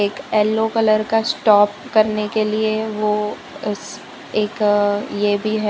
एक yellow colour का stop करने के लिए वो इस एक ये भी है।